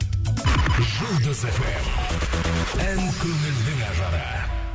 жұлдыз фм ән көңілдің ажары